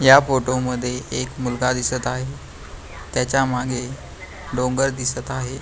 या फोटो मध्ये एक मुलगा दिसत आहे त्याच्या मागे डोंगर दिसत आहे.